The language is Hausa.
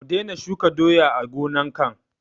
Mu daina shuka doya a gonan can?